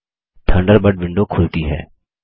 Thunderbird window खुलती है